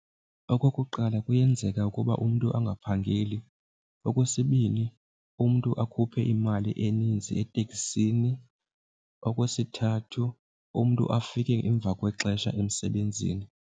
Okokuqala kuyenzeka ukuba umntu angaphangeli, okwesibini umntu akhuphe imali eninzi etekisini, okwesithathu umntu afike emva kwexesha emsebenzini.